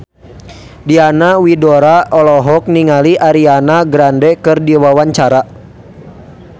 Diana Widoera olohok ningali Ariana Grande keur diwawancara